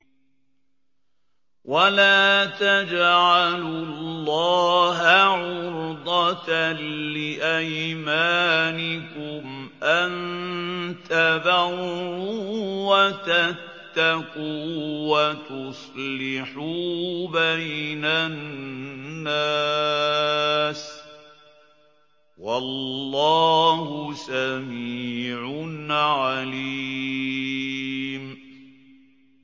وَلَا تَجْعَلُوا اللَّهَ عُرْضَةً لِّأَيْمَانِكُمْ أَن تَبَرُّوا وَتَتَّقُوا وَتُصْلِحُوا بَيْنَ النَّاسِ ۗ وَاللَّهُ سَمِيعٌ عَلِيمٌ